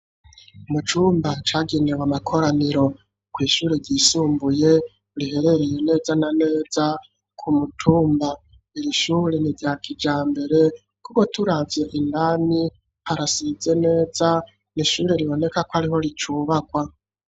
Mucumba cagenewe amakoraniro ku ishure ryisumbuye riherereye neza na neza ku mutumba irishure ni ryakijambere kuko turavye indani harasize neza nishure riboneka ko ariho ricubakwa.